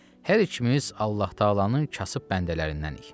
Hər ikimiz Allah Təalanın kasıb bəndələrindənik.